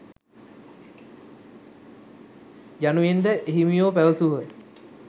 යනුවෙන්ද එහිමියෝ පැවසූහ.